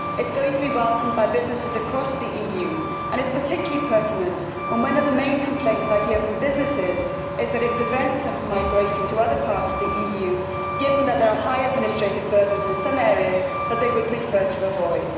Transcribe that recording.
It is going to be welcomed by businesses across the EU and it is particularly pertinent when one of the main complaints I hear from businesses is that they are prevented from migrating to other parts of the EU, given the existence of high administrative burdens in some areas that they would prefer to avoid.